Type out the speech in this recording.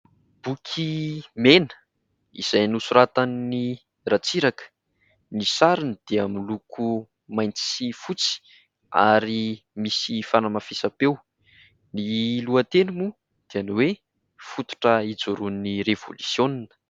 Boky mena izay nosoratan'i Ratsiraka, ny sariny dia miloko mainty sy fotsy ary misy fanamafisam-peo, ny lohateny moa dia ny hoe : "Fototra hijoroan'ny Revolisiona".